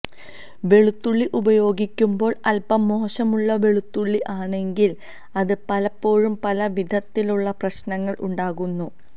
വെളുത്തുള്ളി ഉപയോഗിക്കുമ്പോള് അല്പം മോശമുള്ള വെളുത്തുള്ളി ആണെങ്കില് അത് പലപ്പോഴും പല വിധത്തിലുള്ള പ്രശ്നങ്ങള് ഉണ്ടാക്കുന്നു